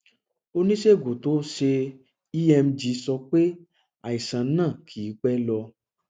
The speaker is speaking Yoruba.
oníṣègùn tó ṣe emg sọ pé àìsàn náà kìí pẹ lọ